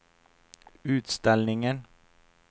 utställningen